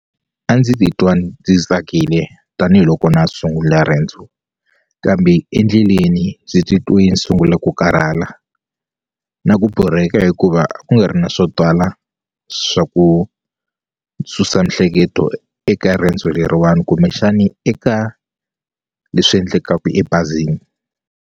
A ndzi titwa ndzi tsakile tanihiloko na ha sungula riendzo kambe endleleni ndzi titwe ni sungula ku karhala na ku borheka hikuva ku nga ri na swo twala swa ku susa mihleketo eka riendzo leriwani kumbexani eka leswi endlekaku ebazini.